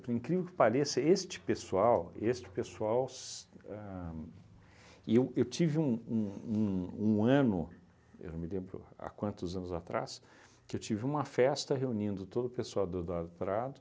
Por incrível que pareça, este pessoal... Este pessoal se ahn... E eu tive um um um ano – eu não me lembro há quantos anos atrás – que eu tive uma festa reunindo todo o pessoal do Eduardo Prado.